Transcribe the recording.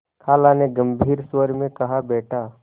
खाला ने गम्भीर स्वर में कहाबेटा